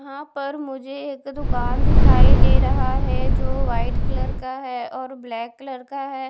हां पर मुझे एक दुकान दिखाई दे रहा है जो वाइट कलर का है और ब्लैक कलर का है।